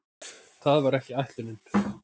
Það var ekki ætlunin.